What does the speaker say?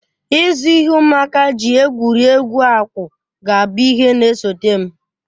Ịzụ ihe ụmụaka ji egwuri egwu akwụ ga-abụ ihe na-esote m